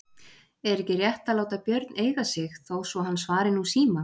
Er ekki rétt að láta Björn eiga sig þó svo hann svari nú síma?